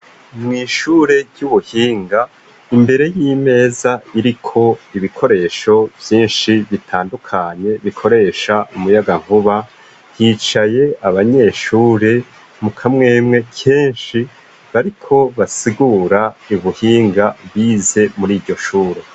Mw'ishure ry'ubuhinga imbere y'imeza iriko ibikoresho vyinshi bitandukanye bikoresha umuyaga vuba yicaye abanyeshure mukamwemwe kenshi bariko basigura ibuhinga bize muri iryo shuro.